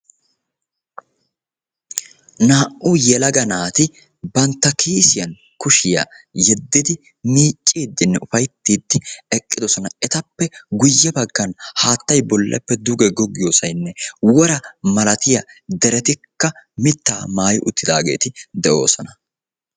Naa'u yelaga naati bantta kiisiyan kushiya yeddiddi de'osonna. Etta matan mittayikka de'ees.